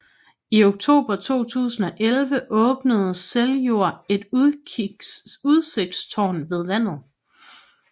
I oktober 2011 åbnede Seljord et udsigtstårn ved vandet